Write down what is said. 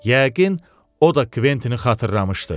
Yəqin, o da Kventini xatırlamışdı.